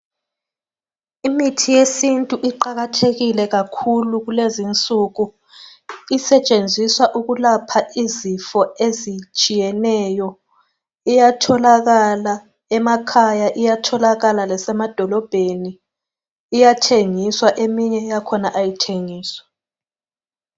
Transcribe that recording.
Imithi yesintu iqakathekile kakhulu kulezinsuku, isetshenziswa ukulapha izifo ezitshiyeneyo. Iyatholakala emakhaya, iyatholakala lasemadolobheni. Iyathengiswa eminye yakhona ayithengiswa.